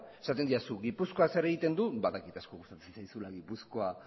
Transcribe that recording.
esaten didazu gipuzkoa zer egiten du badakit asko gustatzen zaizula gipuzkoa